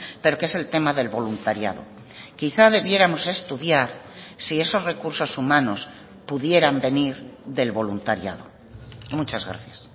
pero que es el tema del voluntariado quizá debiéramos estudiar si esos recursos humanos pudieran venir del voluntariado muchas gracias